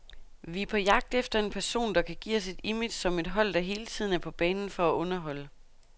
Vi er på jagt efter en person, der kan give os et image som et hold, der hele tiden er på banen for at underholde.